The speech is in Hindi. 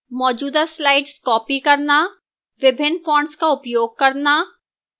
मौजूदा slides copy करना